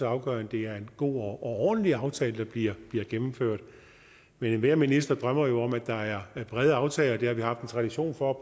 afgørende at det er en god og ordentlig aftale der bliver bliver gennemført men enhver minister drømmer jo om at der er brede aftaler det har vi haft en tradition for